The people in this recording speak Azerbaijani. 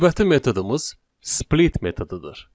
Növbəti metodumuz split metodudur.